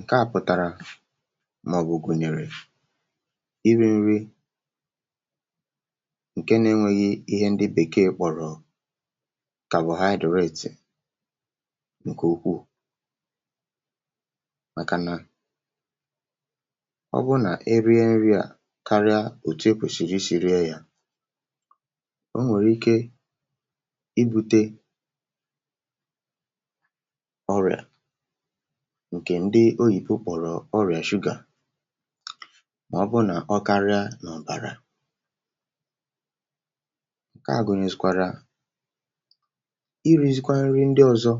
Nke à pụtarà maọ̀bụ̀ gunyerè iri nri nke na-enweghì ihe ndị̀ bekè kpọrọ̀ carbohydrate nke ukwuù makà nà ọ bụ na-erie nri à karịà otù ekwesiri isi rie yà o nwere ike ibute ọrịà nke ndị oyibo kpọrọ̀ ọrịà sugar maọ̀bụ̀ nà ọ karịà n’ọbarà nke à gunyezikwarà irizikwà nrì ndị ọzọ̀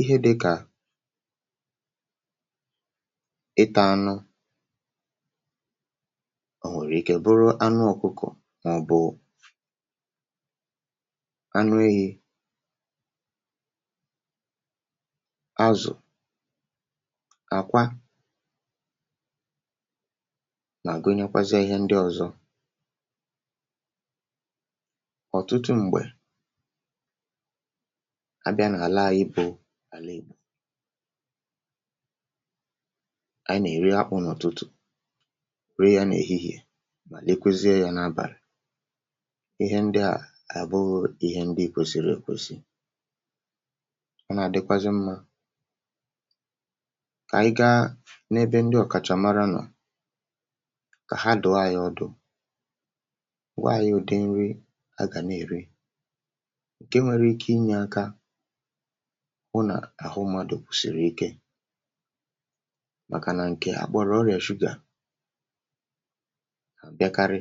ihe dịkà ịtà anụ̀ o nwere ike bụrụ̀ anụ̀ ọkụkọ̀ maọ̀bụ̀ anụ ahì azụ̀ àkwa na-agunyekwazi ihe ndị ọzọ̀ ọtụtụ m̄gbe a bịà n’alà anyị bụ̀ lee bù anyị̀ na-erì akpụ̀ n’ụtụtụ̀ rie n’ehihè lekwuzie ya n’abalị̀ ihe ndị à ga-abụụ ihe ndị kwesiri ekwesì ọ na-adịkwazị̀ mmà anyị̀ gaa n’ebe ndị ọkachà marà nọ̀ ka ha dụọ̀ anyị̀ ọdụ̀ why ụdị nrì a ga na-ere nke nwere ike inye akà hụ nà ahụ mmadụ̀ siri ike makà nà nke akpọrọ̀ ọrịà sugar mekari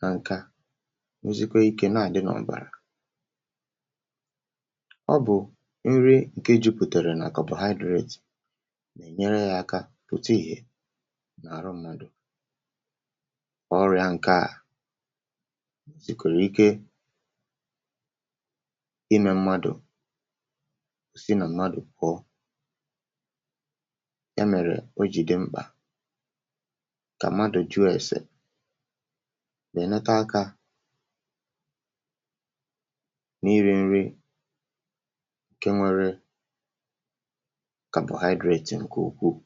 na nkà nwezikwà ike na-adị̀ n’ọbarà ọ bụ̀ nri nke juputarà na carbohydrate nyere yà akà pụtà ihe arụ mmadụ̀ ọrịà nke à jikwarà ike imè mmadụ̀ sị na mmadụ̀ pụọ ya merè o ji dị m̄kpà ka mmadụ̀ jụọ̀ esē wenete akà na-iri nrì nke nwere carbohydrate nke ukwuù